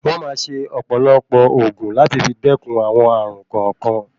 Wọ̀n máa ṣe ọ̀pọ̀lọpọ̀ ògùn láti fi dẹkùn àwọn ààrùn kọ̀ọ̀kan.